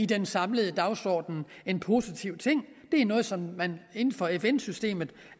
den samlede dagsorden en positiv ting det er noget som man inden for fn systemet